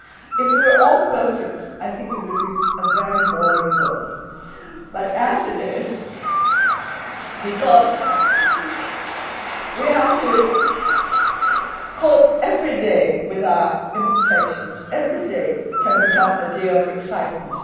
If we were all perfect, I think it would be a very boring world but, as it is because we have to cope every day with our imperfections every day can become a day of excitement.